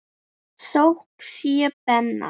Þökk sé Benna.